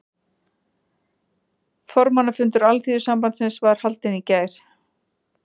Formannafundur Alþýðusambandsins var haldinn í gær